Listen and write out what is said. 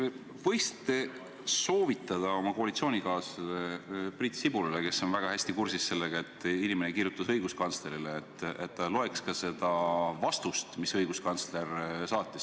Kas te võiksite soovitada oma koalitsioonikaaslasele Priit Sibulale, kes on väga hästi kursis sellega, et üks inimene kirjutas õiguskantslerile, et ta loeks ka seda vastust, mis õiguskantsler saatis.